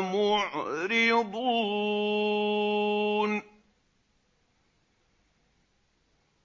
مُعْرِضُونَ